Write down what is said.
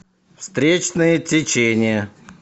встречное течение